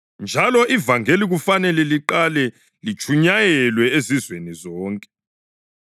Njalo ivangeli kufanele liqale litshunyayelwe ezizweni zonke.